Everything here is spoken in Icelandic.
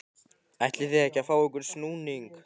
ætlið þið ekki að fá ykkur snúning?